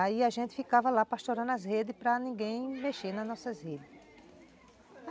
Aí a gente ficava lá pastorando as redes para ninguém mexer nas nossas redes.